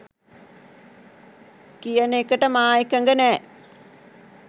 කියන එකට මා එකඟ නෑ